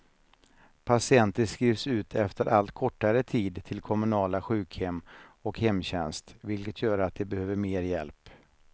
Patienter skrivs ut efter allt kortare tid till kommunala sjukhem och hemtjänst, vilket gör att de behöver mer hjälp.